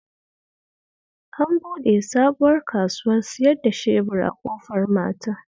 An buɗe sabuwar kasuwar siyar da shebur a Ƙofar Mata